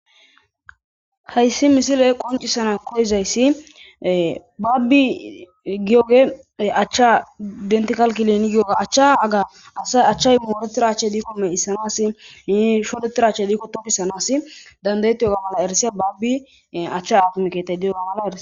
Hayssi misile qoccissana koyizayssi baabbii giyoogee achchaa denthal clinic giyoogaa mooreththida achchay diikko giigissanassi woykko shodeththida achchi diikko tokisanassi danddayeththiyoogaa mala erissiya baabbii achchaa haakime keeththay diyoogaa erissees.